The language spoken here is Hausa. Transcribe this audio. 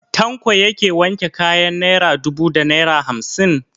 Tanko yake wanke kayan naira dubu da naira hamsin?